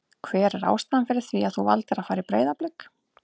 Hver er ástæðan fyrir því að þú valdir að fara í Breiðablik?